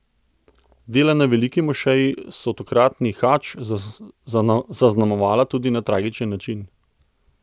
Dela na Veliki mošeji so tokratni hadž zaznamovala tudi na tragičen način.